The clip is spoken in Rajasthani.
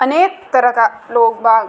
अनेक तरह का लोग बाग --